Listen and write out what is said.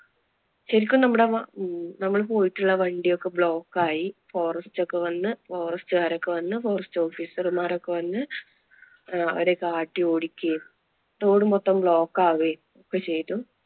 ശെരിക്കും നമ്മട~നമ്മൾ പോയിട്ടുള്ള വണ്ടി ഒക്കെ block ആയി. forest ഒക്കെ വന്ന്, forest കാരൊക്കെ ഒക്കെ വന്ന് forest officer മാരൊക്കെ വന്ന് അഹ് അവരെ ഒക്കെ ആട്ടി ഓടിക്കുകയും, road മൊത്തം block ആവുകയും ഒക്കെ ചെയ്തു.